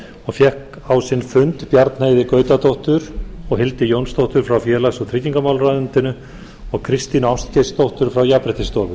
og fékk á sinn fund bjarnheiði gautadóttur og hildi jónsdóttur frá félags og tryggingamálaráðuneyti og kristínu ástgeirsdóttur frá jafnréttisstofu